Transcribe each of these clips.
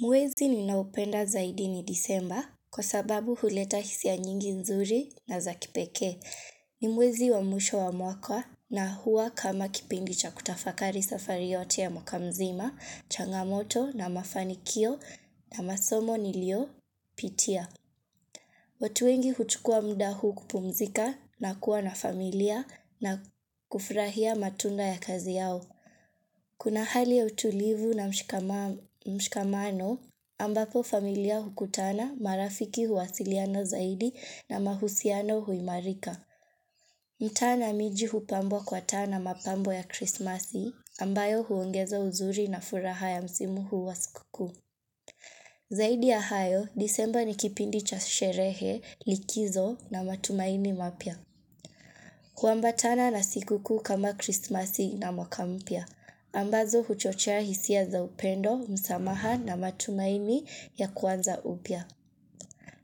Mwezi ninaupenda zaidi ni Desemba kwa sababu huleta hisia ya nyingi nzuri na za kipekee. Ni mwezi wa mwisho wa mwaka na huwa kama kipindi cha kutafakari safari yote ya mwaka mzima, changamoto, na mafanikio, na masomo niliyopitia. Watu wengi huchukua muda huu kupumzika, na kuwa na familia, na kufurahia matunda ya kazi yao. Kuna hali ya utulivu na mshikamano ambapo familia hukutana, marafiki huwasiliana zaidi na mahusiano huimarika. Mtaa na miji hupambwa kwa taa na mapambo ya krismasi, ambayo huongeza uzuri na furaha ya msimu huu wa sikukuu. Zaidi ya hayo, Desemba ni kipindi cha sherehe, likizo, na matumaini mapya. Huambatana na sikukuu kama Krismasi na mwaka mpya. Ambazo huchochea hisia za upendo, msamaha, na matumaini ya kuanza upya.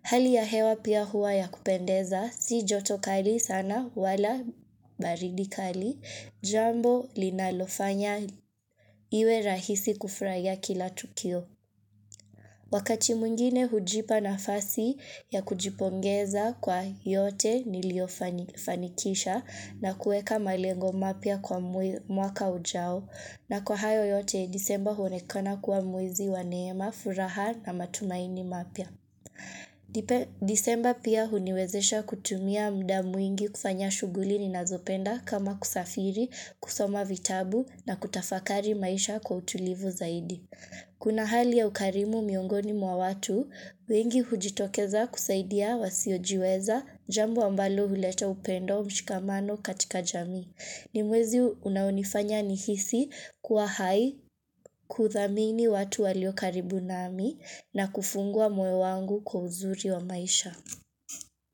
Hali ya hewa pia huwa ya kupendeza, si joto kali sana wala baridi kali, jambo linalofanya iwe rahisi kufurahia kila tukio. Wakati mwngine hujipa nafasi ya kujipongeza kwa yote niliyofanikisha na kuweka malengo mapya kwa mwaka ujao. Na kwa hayo yote, Desemba huonekana kuwa mwezi wa neema, furaha, na matumaini mapya. Desemba pia huniwezesha kutumia muda mwingi kufanya shughuli ninazopenda kama kusafiri, kusoma vitabu, na kutafakari maisha kwa utulivu zaidi. Kuna hali ya ukarimu miongoni mwa watu, wengi hujitokeza kusaidia wasiojiweza, jambo ambalo huleta upendo mshikamano katika jamii. Ni mwezi unaonifanya nihisi kuwa hai kudhamini watu walio karibu nami na kufungua moyo wangu kwa uzuri wa maisha.